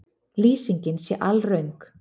Lýsingin sé alröng